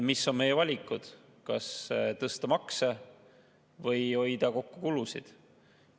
Mis on meie valikud: kas tõsta makse või kulusid kokku hoida.